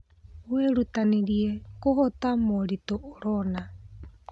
Wĩrutanĩrie kũhoto moritũ ũrona.